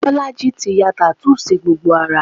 Bolaji ti ya tattoo sí gbogbo ara